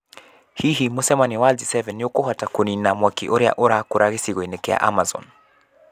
Hihi mũcemanio wa G7 nĩ ũkũhota kũniina mwaki ũrĩa ũrakora gĩcigo-inĩ kĩa Amazon?